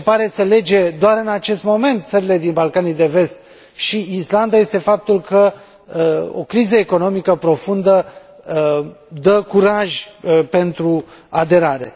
Ceea ce pare să lege doar în acest moment țările din Balcanii de Vest și Islanda este faptul că o criză economică profundă dă curaj pentru aderare.